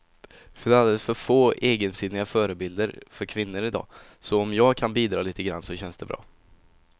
Det finns alldeles för få egensinniga förebilder för kvinnor i dag, så om jag kan bidra lite grann så känns det bra.